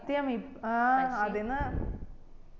സത്യം ആ അതെന്നെ